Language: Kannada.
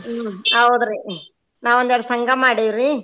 ಹ್ಮ್ ಹೌದರಿ ನಾವ್ ಒಂದೆರಡ್ ಸಂಘ ಮಾಡಿವ್ರಿ.